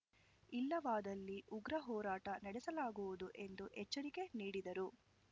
ಇಲ್ಲವಾದಲ್ಲಿ ಉಗ್ರ ಹೋರಾಟ ನಡೆಸಲಾಗುವುದು ಎಂದು ಎಚ್ಚರಿಕೆ ನೀಡಿದರು